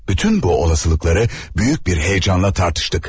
Bütün bu olasılıkları büyük bir heyecanla tartıştık.